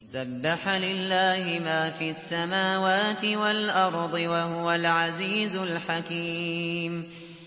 سَبَّحَ لِلَّهِ مَا فِي السَّمَاوَاتِ وَالْأَرْضِ ۖ وَهُوَ الْعَزِيزُ الْحَكِيمُ